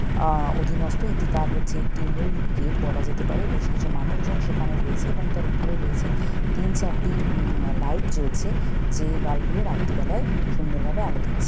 আ-অধীনস্ত এটি তার হচ্ছে একটি মূল গেট বলা যেতে পারে বেশ কিছু মানুষ জন সেখানে রয়েছে এবং তার উপরে রয়েছে তিন চারটি উউম লাইট জ্বলছে যেই বালব গুলো রাত্রি বেলায় সুন্দর ভাবে আলো দিচ্ছে।